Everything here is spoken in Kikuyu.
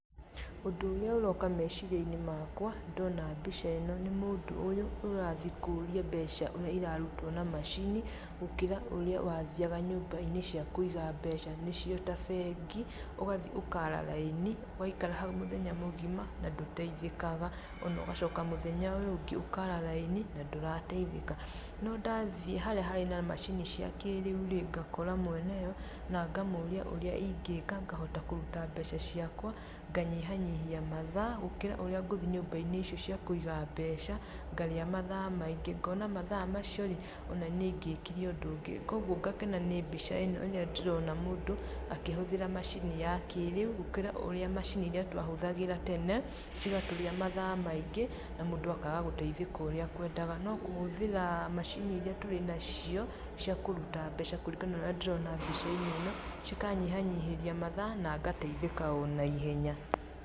Ũndũ ũrĩa ũroka meciria-inĩ makwa, ndona mbica ĩno, nĩ mũndũ ũyũ ũrathiĩ kũria mbeca ũrĩa irarutwo na macini, gũkĩra ũrĩa wathiaga nyũmba-inĩ cia kũiga mbeca, nĩcio ta bengi, ũgathiĩ ũkaara raini, ũgaikara hau mũthenya mũgima na ndũteithĩkaga,o na ũgacoka mũthenya ũyũ ũngĩ ũkaara raini na ndũrateithĩka, no ndathiĩ harĩa harĩ na macini cia kĩĩrĩũ rĩ, ngakora mwene yo na ngamũria ũrĩa ingĩka, ngahota kũruta mbeca ciakwa ,nganyihanyihia mathaa gũkĩra ũrĩa ngũthiĩ nyũmba-inĩ icio cia kũiga mbeca, ngarĩa mathaa maingĩ. Ngona mathaa macio rĩ,o na nĩ ingĩkire ũndũ ũngĩ, kwoguo ngakena nĩ mbica ĩno rĩrĩa ndĩrona mũndũ akĩhũthĩra macini ya kĩĩrĩu gũkĩra ũrĩa macini iria twahũthagĩra tene, cigatũrĩa mathaa maingĩ na mũndũ akaaga gũteithĩka ũrĩa akwendaga, no kũhũthĩra macini iria tũrĩ nacio cia kũruta mbeca kũringana na ũrĩa ndĩrona mbica-inĩ ĩno, cikanyihanyihĩria mathaa na ngateithĩka o na ihenya.